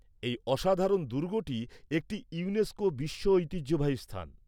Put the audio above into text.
এ‍ই অসাধারণ দুর্গটি একটি ইউনেস্কো বিশ্ব ঐতিহ্যবাহী স্থান।